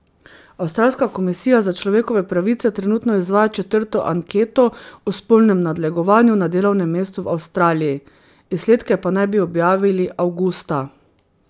Avstralska komisija za človekove pravice trenutno izvaja četrto anketo o spolnem nadlegovanju na delovnem mestu v Avstraliji, izsledke pa naj bi objavili avgusta.